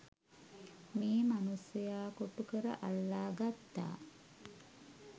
මේ මනුස්සයා කොටුකර අල්ලා ගත්තා.